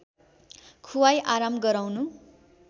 खुवाई आराम गराउनु